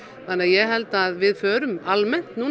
ég held að við förum almennt